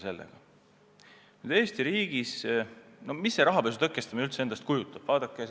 Mida Eesti riigis rahapesu tõkestamine üldse endast kujutab?